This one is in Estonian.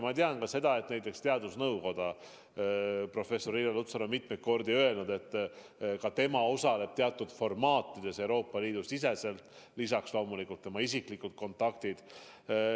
Ma tean ka seda, et näiteks teadusnõukoja professor Irja Lutsar on mitmeid kordi öelnud, et ka tema osaleb teatud formaatides Euroopa Liidu siseselt, lisaks on tal loomulikult isiklikud kontaktid.